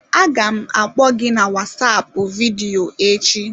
Aga m akpọ gị na Wasapu vidiyo echi.